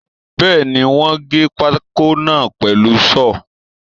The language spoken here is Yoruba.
Bẹ́ẹ̀ni, wọ́n gé pákó náà pẹ̀lú Ṣọ́ọ̀lù.